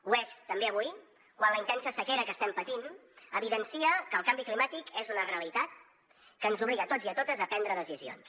ho és també avui quan la intensa sequera que estem patint evidencia que el canvi climàtic és una realitat que ens obliga a tots i a totes a prendre decisions